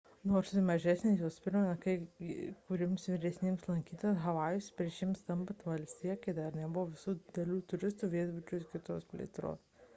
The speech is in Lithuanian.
nors ir mažesnės jos primena kai kuriems vyresniems lankytojams havajus prieš jiems tampant valstija kai dar nebuvo visų didelių turistinių viešbučių ir kitos plėtros